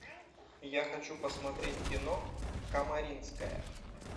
я хочу посмотреть кино комаринская